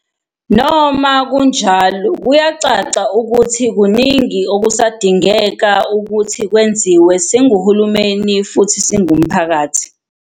Noma kunjalo, kuyacaca ukuthi kuningi okusadingeka ukuthi kwenziwe, singuhulumeni futhi singumphakathi.